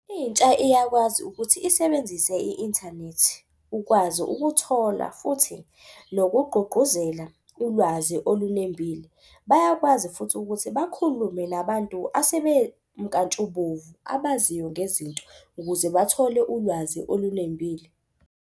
Intsha iyakwazi ukuthi isebenzise i-inthanethi ukwazi ukuthola futhi nokugqugquzela ulwazi olunembile. Bayakwazi futhi ukuthi bakhulume nabantu asebemnkantshubovu abaziyo ngezinto ukuze bathole ulwazi olunembile.